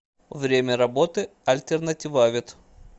время работы альтернативавет